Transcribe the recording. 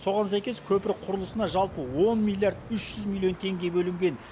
соған сәйкес көпір құрылысына жалпы он миллиард үш жүз миллион теңге бөлінген